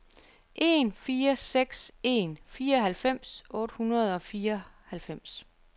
en fire seks en fireoghalvfems otte hundrede og fireoghalvfems